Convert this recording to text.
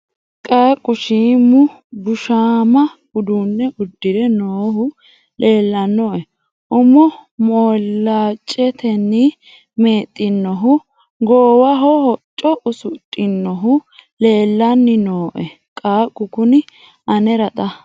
qaaqu shiimu bushshaamma uduunne udire noohu leellannoe umo moilaacetenni meexxinohu goowaho hocco usudhinohu leellanni noe qaaqu kuni anera xa .